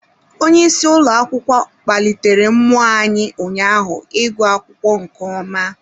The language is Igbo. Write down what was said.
Onye isi ụlọ akwụkwọ kpalitere mmụọ anyị ụnyaahụ ịgụ akwụkwọ nke ọma.